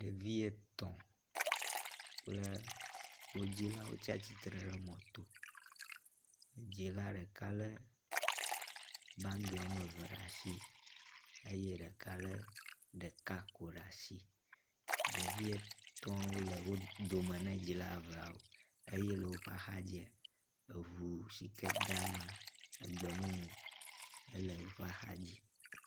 Ɖevi etɔ̃ kple wo dzilawo tsatsitre ɖe mɔto, dzila ɖeka lé bagi woame eve ɖe asi eye ɖeka lé ɖeka ko ɖe asi. Ɖevi etɔ̃awo le wo dome na dzila eveawo eye le woƒe axadzia, eŋu sike dama egbemumu ele woƒe axadzi.